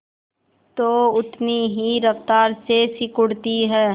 तो उतनी ही रफ्तार से सिकुड़ती है